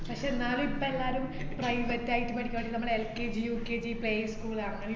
പക്ഷേ എന്നാലും ഇപ്പോ എല്ലാരും private ആയിട്ട് പഠിക്കുവാണേ നമ്മള് LKGUKGplayschool അങ്ങനേ